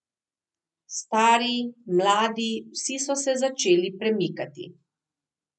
Stari, mladi, vsi so se začeli premikati.